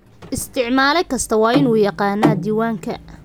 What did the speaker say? Isticmaale kasta waa inuu yaqaannaa diiwaanka.